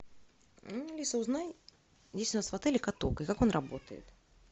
алиса узнай есть ли у нас в отеле каток и как он работает